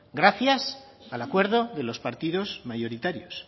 gracias al acuerdo de los partidos mayoritarios